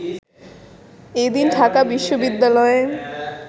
এদিন ঢাকা বিশ্ববিদ্যালয়ে